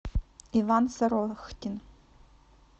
иван сорохтин